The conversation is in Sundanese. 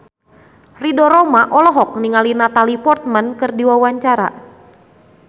Ridho Roma olohok ningali Natalie Portman keur diwawancara